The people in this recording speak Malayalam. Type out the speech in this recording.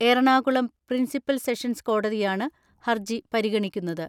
എറണാകുളം പ്രിൻസിപ്പൽ സെഷൻസ് കോടതിയാണ് ഹർജി പരിഗണിക്കുന്നത്.